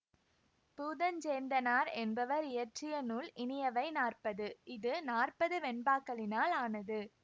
பூதஞ்சேந்தனார் என்பவர் இயற்றிய நூல் இனியவை நாற்பது இது நாற்பது வெண்பாக்களினால் ஆனது